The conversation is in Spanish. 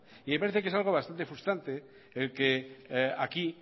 y me parece que es algo frustrante en que aquí